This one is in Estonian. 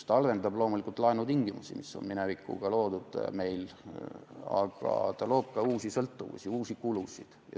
Ta halvendab loomulikult laenutingimusi, mis on meil minevikus loodud, aga ta loob ka uusi sõltuvusi, uusi kulusid.